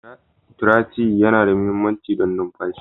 Traciye yana da mahimmanci don numfashi.